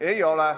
Ei ole.